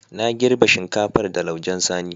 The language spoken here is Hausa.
Na girbe shinkafar da laujen sani.